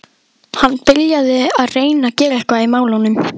Hann byrjaði að reyna að gera eitthvað í málunum.